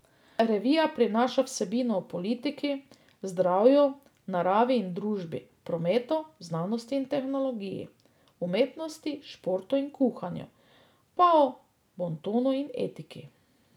Revija prinaša vsebine o politiki, zdravju, naravi in družbi, prometu, znanosti in tehnologiji, umetnosti, športu in kuhanju, pa o bontonu in etiki.